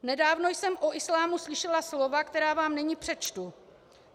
Nedávno jsem o islámu slyšela slova, která vám nyní přečtu.